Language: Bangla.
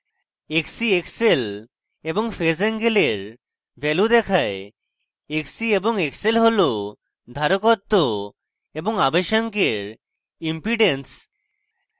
xc xl এবং phase এঙ্গেলের ভ্যালু দেখায় xc এবং xl হল ধারকত্ব এবং আবেশাঙ্ক এর impedences